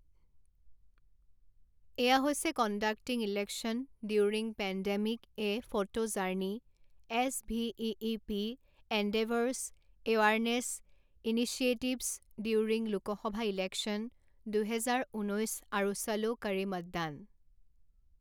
এয়া হৈছে conducting election during pandemic a photo journey, SVEEP endeavours awareness initiatives during Lok Sabha election, দুহেজাৰ ঊনৈছ আৰু চলো কৰে মতদান।